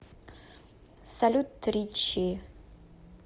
салют ричи